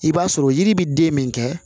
I b'a sɔrɔ yiri bi den min kɛ